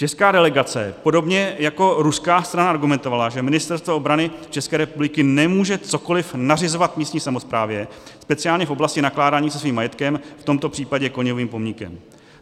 Česká delegace podobně jako ruská strana argumentovala, že Ministerstvo obrany České republiky nemůže cokoliv nařizovat místní samosprávě, speciálně v oblasti nakládání se svým majetkem, v tomto případě Koněvovým pomníkem.